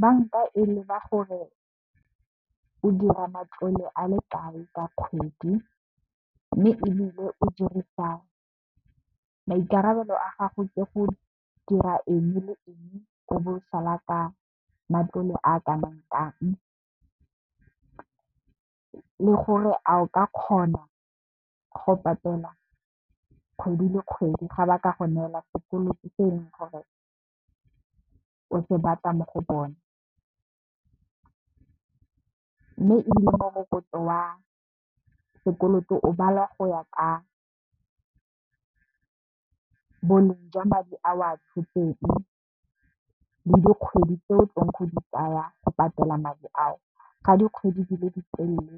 Banka e leba gore o dira matlole a lekae ka kgwedi mme, maikarabelo a gago ke go dira eng le eng o bo o sala ka matlole a ka nang kang, le gore a o ka kgona go patela kgwedi le kgwedi ga ba ka go neela sekoloto se eleng gore o se batla mo go bone. Mme, ebile morokotso wa sekoloto o balwa go ya ka boleng jwa madi a o a tshotseng le dikgwedi tse o tlileng go di tsaya go patela madi ao ga dikgwedi di le ditelele